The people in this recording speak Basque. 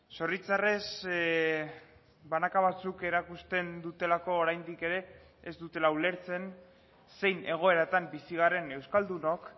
zoritxarrez banaka batzuk erakusten dutelako oraindik ere ez dutela ulertzen zein egoeratan bizi garen euskaldunok